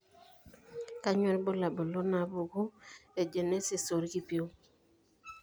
Kainyio irbulabul onaapuku eagenesis oorkipieu?